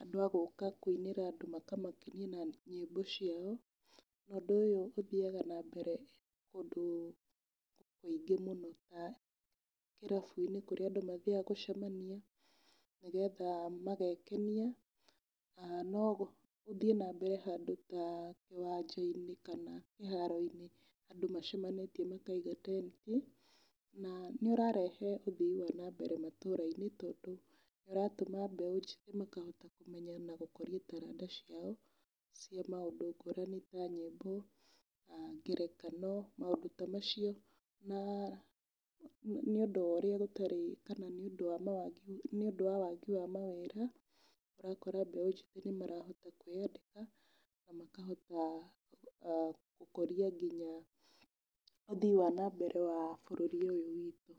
andũ a gũka kũinĩra andũ makamakenia na nyĩmbo ciao. Ũndũ ũyũ ũthiaga na mbere kũndũ kũingĩ mũno ta irabu-inĩ kũrĩa andũ mathiaga gũcemania, nĩgetha magekenia. Na no ũthiĩ na mbere handũ ta kĩwanja-inĩ kana kĩharo-inĩ andũ macemanĩtie makaiga tent. Na nĩ ũrarehe ũthii wa na mbere matũra-inĩ, tondũ nĩ ũratũma mbeũ njĩthĩ makahota kũmenya na gũkũria taranda ciao cia maũndũ ngũrani ta nyĩmbo, ngerekano, maũndũ ta macio. Na nĩ ũndũ wa ũrĩa gũtarĩ, kana nĩ ũndũ wa wagi wa mawĩra, ũgakora mbeũ njĩthĩ nĩ marahota kwĩyethera na makahota gũkũria nginya ũthii wa na mbere wa bũrũri ũyũ witũ.